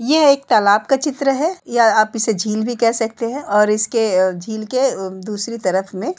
ये एक तलाब का चित्र है या आप इसे झील भी कह सकते है और इसके अ झील के अ दुसरी तरफ में --